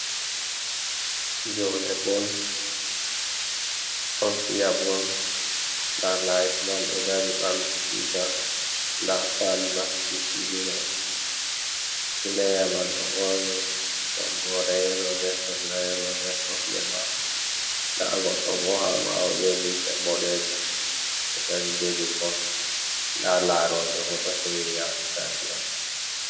Fi'obe bol ɗon fiya bol na laise man ɗo dari bamti tuta nda fan nasti fili man, pleya man ɗo borni toggore yelo be sarla layelo be socks ha kosɗe mako dna goɗɗo bo ha bawo be limse boɗejum ɗo dari jogi bol dna laroɓe bo ɗo hewi ha stadion man.